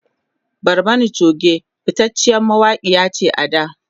Barmani Choge fitaciyar mawakiya ce a da